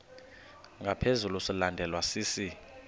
ngaphezu silandelwa sisi